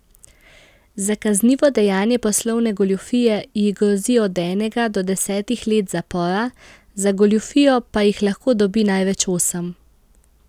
Za kaznivo dejanje poslovne goljufije ji grozi od enega do desetih let zapora, za goljufijo pa jih lahko dobi največ osem.